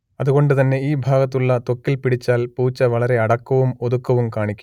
അതുകൊണ്ട് തന്നെ ഈ ഭാഗത്തുള്ള ത്വക്കിൽ പിടിച്ചാൽ പൂച്ച വളരെ അടക്കവും ഒതുക്കവും കാണിക്കും